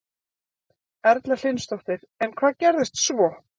Erla Hlynsdóttir: En hvað gerðist svo?